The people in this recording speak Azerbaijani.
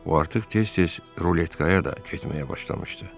O artıq tez-tez ruletkaya da getməyə başlamışdı.